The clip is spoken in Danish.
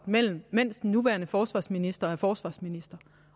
mens den nuværende forsvarsminister er forsvarsminister